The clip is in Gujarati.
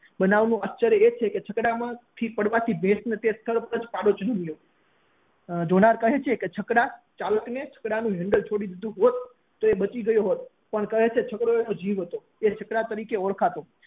બનાવ નું આશ્ચર્ય એ છે કે જોનાર કહે છે કે છકડા ના ચાલક એ જો છકડા નું હેન્ડલ છોડી દીધું હોત તો એ બચી ગયો હોત પણ છકડો એનો જીવ હતો એ છકડા તરીકે ઓળખાતો